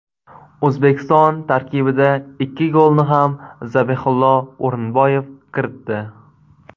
O‘zbekiston tarkibida ikki golni ham Zabihullo O‘rinboyev kiritdi.